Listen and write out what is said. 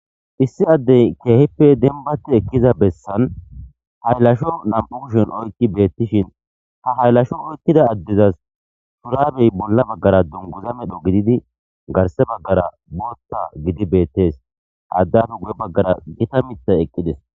Issi adey kehipe denibati eqiza besan hayilasho na'u kushen qodhen oyikibetishin ha hayilasho oyiqida adezas shurabey bolla bagara duniguza medho gididi garisa bagara botha gidibetes